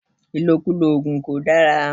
Ìlòkulò ògùn kò dára